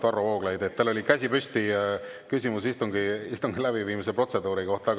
Varro Vooglaid, teil oli käsi püsti, küsimus istungi läbiviimise protseduuri kohta.